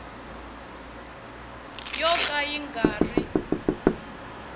yo ka yi nga ri